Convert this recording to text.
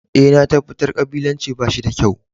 Eh, na tabatar kabilanci ba shi da kyau.